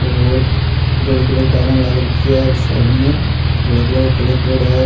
और धोळा कलर की टाइला लाग रखी है और साइड में धोळा कलर को कलर करेडो है।